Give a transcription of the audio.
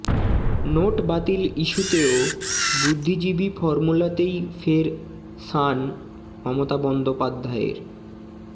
note বাতিল ইস্যুতেও বুদ্বিজীবী ফর্মুলাতেই ফের শান মমতা বন্দ্যোপাধ্যায়ের